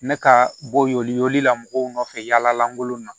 Me ka bɔ y'olu la mɔgɔw nɔfɛ yaala lankolonw na